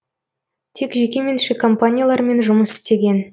тек жекеменшік компаниялармен жұмыс істеген